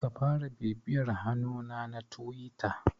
Ka fara bibiyar hannuna na Tiwita.